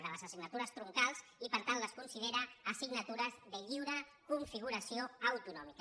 de les assignatures troncals i per tant les considera assignatures de lliure configuració autonòmica